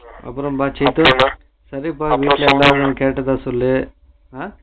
அப்பறம்ப்பா சேத்து அம்மாவையும் கேட்டதா சொல்லு